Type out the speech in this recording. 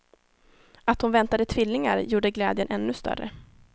Att hon väntade tvillingar gjorde glädjen ännu större.